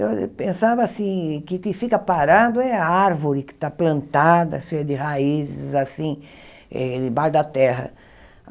Eu pensava, assim, que o que fica parado é a árvore que está plantada, cheia, de raízes, assim, eh embaixo da terra.